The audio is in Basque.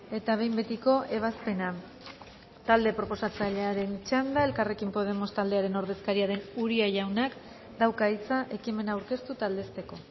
eta behin betiko ebazpena talde proposatzailearen txanda elkarrekin podemos taldearen ordezkaria den uria jaunak dauka hitza ekimena aurkeztu eta aldezteko